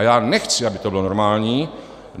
A já nechci, aby to bylo normální.